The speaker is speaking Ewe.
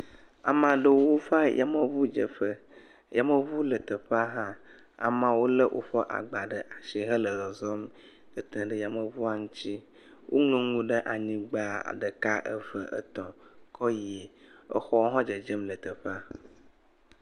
Ame aɖewo va yameŋudzeƒe, yameŋu le teƒea hã, ameawo lé woƒe gba ɖe asi hele zɔzɔm tete ɖe yamwŋua ŋuti, woŋlɔ nu anyigba ɖeka, eve, etɔ̃ kɔ yi, exɔwo hã le dzedzem le teƒea.